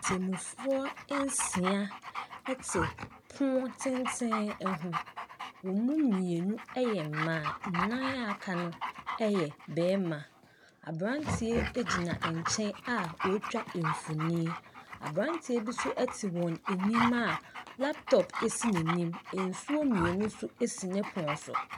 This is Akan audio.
Atemmufoɔ nsia te pono tenten ho. Wɔn mu mmienu yɛ mmaa, nnan a wɔakano yɛ mmarima. Aberanteɛ gyina nkyɛn a ɔretwa mfonin. Aberanteɛ bi nso te wɔn anim a laptop si n'anim. Nsuo mmienu nso si ne pono so.